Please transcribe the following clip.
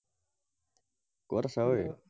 কত আছা ঐ?